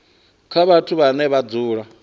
kha vhathu vhane vha dzula